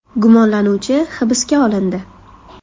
Gumonlanuvchi hibsga olindi.